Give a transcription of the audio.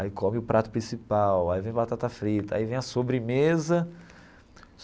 Aí come o prato principal, aí vem batata frita, aí vem a sobremesa.